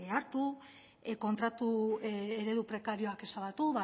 hartu kontratu eredu prekarioak ezabatu